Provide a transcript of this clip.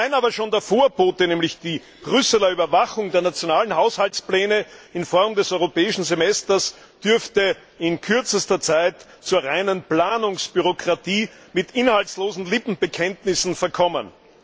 Allein aber schon der Vorbote, nämlich die Brüsseler Überwachung der nationalen Haushaltspläne in Form des europäischen Semesters, dürfte in kürzester Zeit zur reinen Planungsdemokratie mit inhaltslosen Lippenbekenntnissen verkommen.